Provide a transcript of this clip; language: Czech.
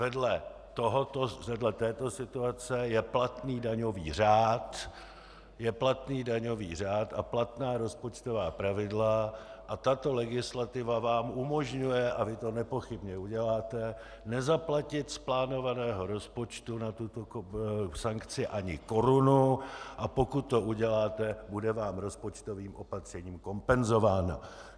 Vedle této situace je platný daňový řád a platná rozpočtová pravidla a tato legislativa vám umožňuje, a vy to nepochybně uděláte, nezaplatit z plánovaného rozpočtu na tuto sankci ani korunu, a pokud to uděláte, bude vám rozpočtovým opatřením kompenzována.